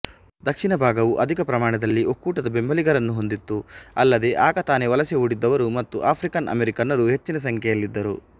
ದಕ್ಷಿಣ ಭಾಗವು ಅಧಿಕ ಪ್ರಮಾಣದಲ್ಲಿ ಒಕ್ಕೂಟದ ಬೆಂಬಲಿಗರನ್ನು ಹೊಂದಿತ್ತು ಅಲ್ಲದೆ ಆಗತಾನೆ ವಲಸೆ ಹೂಡಿದ್ದವರು ಮತ್ತು ಆಫ್ರಿಕನ್ಅಮೆರಿಕನ್ನರು ಹೆಚ್ಚಿನ ಸಂಖ್ಯೆಯಲ್ಲಿದ್ದರು